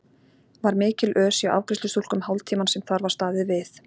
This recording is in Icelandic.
Var mikil ös hjá afgreiðslustúlkum hálftímann sem þar var staðið við.